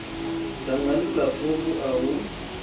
dangani la fovu a hu